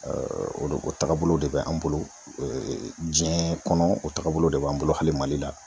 o de o tagabolow de be an bolo diɲɛ kɔnɔ ,o tagabolow de b'an bolo hali Mali la.